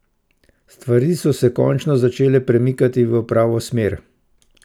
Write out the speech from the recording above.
Stvari so se končno začele premikati v pravo smer.